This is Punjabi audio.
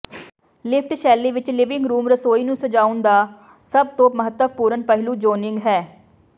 ਲਿਫਟ ਸ਼ੈਲੀ ਵਿਚ ਲਿਵਿੰਗ ਰੂਮ ਰਸੋਈ ਨੂੰ ਸਜਾਉਣ ਦਾ ਸਭ ਤੋਂ ਮਹੱਤਵਪੂਰਨ ਪਹਿਲੂ ਜ਼ੋਨਿੰਗ ਹੈ